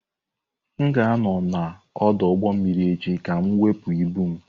M ga-anọ n'ọdụ ụgbọ mmiri echi ka m wepụ ibu m.